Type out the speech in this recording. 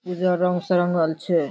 इधर रंग से रंगल छै।